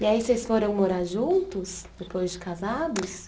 E aí vocês foram morar juntos depois de casados?